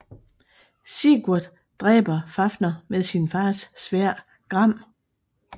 Sigurd dræber Fafner med sin fars sværd Gram